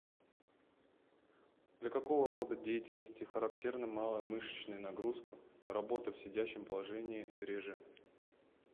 для какого рода деятельности характерна малая мышечная нагрузка работа в сидячем положении реже